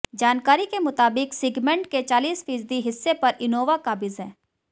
जानकारी के मुताबिक सेगमेंट के चालीस फीसदी हिस्से पर इनोवा काबिज़ है